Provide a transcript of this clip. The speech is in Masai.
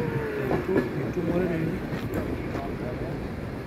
Etu itumore ninye?